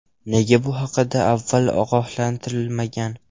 Nega bu haqida avval ogohlantirilmagan?